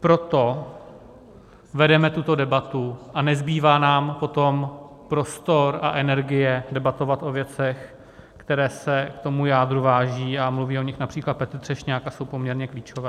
Proto vedeme tuto debatu a nezbývá nám potom prostor a energie debatovat o věcech, které se k tomu jádru vážou, a mluví o nich například Petr Třešňák a jsou poměrně klíčové.